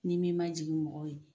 N'i m'i majigin mɔgɔw ye